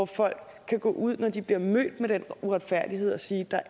folk kan gå ud med når de bliver mødt med den uretfærdighed og sige der